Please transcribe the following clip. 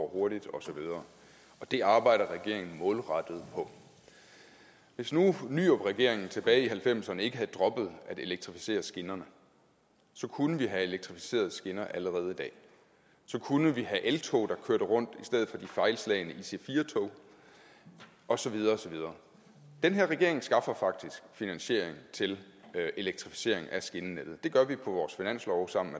hurtigt osv og det arbejder regeringen målrettet på hvis nu nyrupregeringen tilbage i nitten halvfemserne ikke havde droppet at elektrificere skinnerne kunne vi have elektrificerede skinner allerede i dag og så kunne vi have eltog der kørte rundt i stedet for de fejlslagne ic4 tog og så videre og så videre den her regering skaffer faktisk finansiering til elektrificering af skinnenettet og det gør vi på vores finanslov sammen